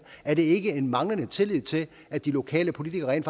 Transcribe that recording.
er det ikke en manglende tillid til at de lokale politikere rent